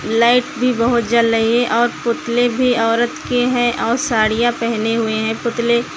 light भी बहोत जल रही है और पुतले भी औरत के हैं और साड़ियां पहने हुए हैं पुतले --